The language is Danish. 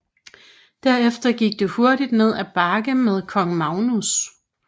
Derefter gik det hurtigt ned ad bakke med kong Magnus